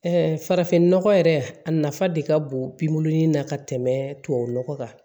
farafinnɔgɔ yɛrɛ a nafa de ka bon bin na ka tɛmɛ tubabu nɔgɔ kan